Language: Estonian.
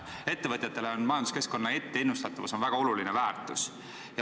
Ettevõtjatele on majanduskeskkonna etteennustatavus väga oluline väärtus.